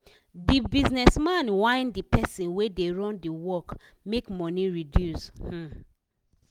the business man whine the person wey dey run d work make money reduce um